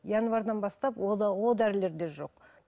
январьдан бастап о да о дәрілер де жоқ